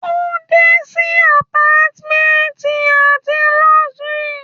o de si apartments ati luxury